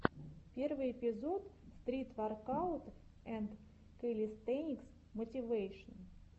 первый эпизод стрит воркаут энд кэлистэникс мотивэйшн